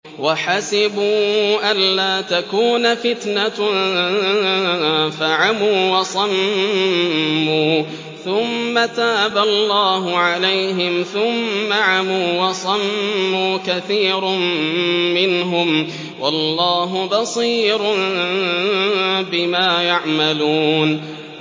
وَحَسِبُوا أَلَّا تَكُونَ فِتْنَةٌ فَعَمُوا وَصَمُّوا ثُمَّ تَابَ اللَّهُ عَلَيْهِمْ ثُمَّ عَمُوا وَصَمُّوا كَثِيرٌ مِّنْهُمْ ۚ وَاللَّهُ بَصِيرٌ بِمَا يَعْمَلُونَ